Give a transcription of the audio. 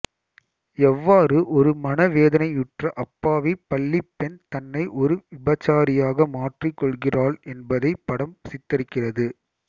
எவ்வாறு ஒரு மனவேதனையுற்ற அப்பாவி பள்ளிப் பெண் தன்னை ஒரு விபச்சாரியாக மாற்றிக் கொள்கிறாள் என்பதை படம் சித்தரிக்கிறது